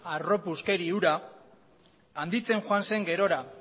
harropuzkeri hura handitzen joan zen gerora